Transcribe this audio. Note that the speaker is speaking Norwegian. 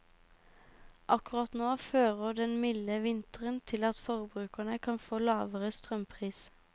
Akkurat nå fører den milde vinteren til at forbrukerne kan få lavere strømpris.